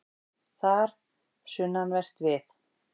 Þar, sunnanvert við